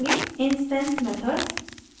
instance methods instance methods